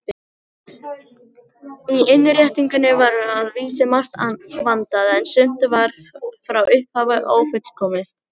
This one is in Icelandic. Í innréttingunni var að vísu margt vandað, en sumt var frá upphafi ófullkomið.